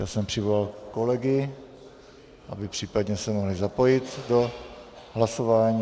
Já jsem přivolal kolegy, aby případně se mohli zapojit do hlasování.